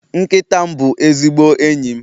Nkịta m bụ ezigbo enyi m